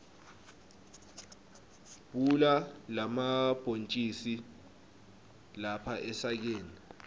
bhula lamabhontjisi lapha esakeni